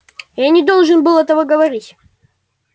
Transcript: я не должен был этого говорить